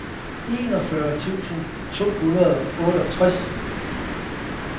enogfyrre tusind to hundrede og otteogtres